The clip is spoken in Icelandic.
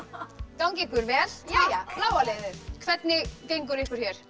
gangi ykkur vel bláa liðið hvernig gengur ykkur hér